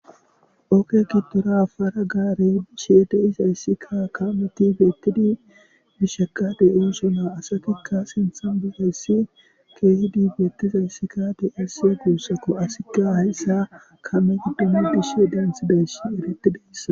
Ooge gidora para gaarey bishe de'izayssikka kaameti bettidi bisheka de'oosonna asatikka sinthan bizayssi keehidi beettizayssikka de'ese guussakko asikka hayssa kaame giddon bishe daanthidays eretidayssa